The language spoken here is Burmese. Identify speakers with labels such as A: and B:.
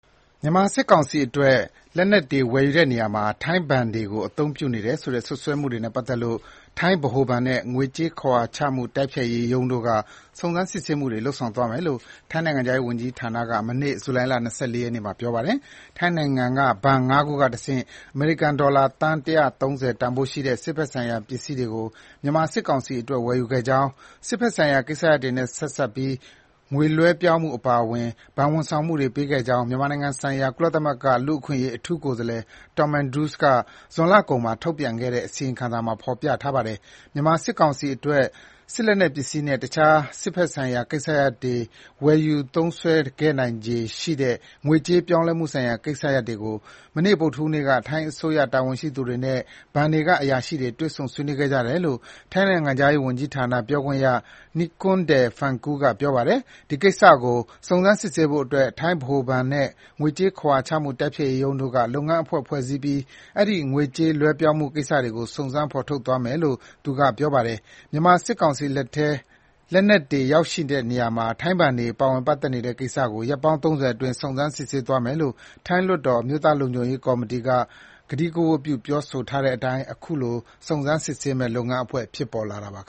A: မြန်မာစစ်ကောင်စီအတွက် လက်နက်တွေဝယ်ယူတဲ့နေရာမှာ ထိုင်းနိုင်ငံကဘဏ်တွေကို အသုံးပြုနေတယ်ဆိုတဲ့ စွပ်စွဲမှုတွေနဲ့ပတ်သက်လို့ ထိုင်းဗဟိုဘဏ်နဲ့ ငွေကြေးခဝါချမှုတိုက်ဖျက်ရေးရုံးတို့က စုံစမ်းစစ်ဆေးမှုတွေ လုပ်ဆောင်သွားမယ်လို့ ထိုင်းနိုင်ငံခြားရေးဝန်ကြီးဌာနက မနေ့ ဇူလိုင်လ ၂၄ ရက်နေ့မှာ ပြောပါတယ်။ ထိုင်းနိုင်ငံက ဘဏ် ၅ ခုကတဆင့် အမေရိကန်ဒေါ်လာ သန်း ၁၃၀ တန်ဖိုးရှိတဲ့ စစ်ဘက်ဆိုင်ရာ ပစ္စည်းကို မြန်မာ စစ်ကောင်စီအတွက် ဝယ်ယူခဲ့ကြောင်း၊ စစ်ဘက်ဆိုင်ရာ ကိစ္စရပ်တွေနဲ့ ဆက်စပ်ပြီး ငွေလွှဲပြောင်းမှု အပါအဝင် ဘဏ်၀န်ဆောင်မှုတွေ ပေးခဲ့ကြောင်း မြန်မာနိုင်ငံဆိုင်ရာ ကုလသမဂ္ဂ လူ့အခွင့်အရေး အထူးကိုယ်စားလှယ် Tom Andrews က ဇွန်လကုန်မှာ ထုတ်ပြန်ခဲ့တဲ့ အစီရင်ခံစာမှာ ဖေါ်ပြထားပါတယ်။ မြန်မာစစ်ကောင်စီအတွက် စစ်လက်နက်ပစ္စည်းနဲ့ တခြား စစ်ဘက်ဆိုင်ရာ ကိစ္စရပ်တွေအတွက် ဝယ်ယူသုံးစွဲခဲ့နိုင်ခြေရှိတဲ့ ငွေကြေး လွှဲပြောင်းမှုဆိုင်ရာ ကိစ္စရပ်တွေကို မနေ့ ဗုဒ္ဓဟူးနေ့က ထိုင်းအစိုးရတာဝန်ရှိသူတွေနဲ့ ဘဏ်တွေက အရာရှိတွေတွေ့ဆုံ ဆွေးနွေးခဲ့ကြတယ်လို့ ထိုင်းနိုင်ငံခြားရေးဌာန ပြောခွင့်ရ Nikorndej Balankura က ပြောပါတယ်။ ဒီကိစ္စကို စုံစမ်းစစ်ဆေးဖို့အတွက် ထိုင်းဗဟိုဘဏ်နဲ့ ငွေကြေးခဝါချမှုတိုက်ဖျက်ရေးရုံးတို့က လုပ်ငန်းအဖွဲ့ ဖွဲ့စည်းပြီး အဲဒီ ငွေကြေးလွှဲပြောင်းမှုတွေကို စုံစမ်းဖော်ထုတ်သွားမယ်လို့လည်း ဆိုပါတယ်။ မြန်မာစစ်ကောင်စီလက်ထဲ လက်နက်တွေ ရောက်ရှိနေတဲ့နေရာမှာ ထိုင်းဘဏ်တွေ ပါ၀င်ပတ်သက်နေတဲ့ကိစ္စကို ရက်ပေါင်း ၃၀ အတွင်း စုံစမ်းစစ်ဆေးသွားမယ်လို့ ထိုင်းလွှတ်တော် အမျိုးသားလုံခြုံရေးကော်မတီက ကတိက၀တ်ပြု ပြောဆိုထားတဲ့အတိုင်း အခုလို စုံစမ်းစစ်ဆေးမယ့် လုပ်ငန်းအဖွဲ့ ဖြစ်ပေါ်လာတာပါ။